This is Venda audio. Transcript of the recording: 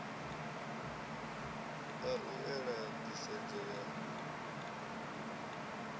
a u ela nḓisedzo ya